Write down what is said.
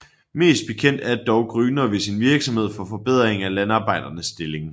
Mest bekendt er dog Grüner ved sin virksomhed for forbedring af Landarbejdernes stilling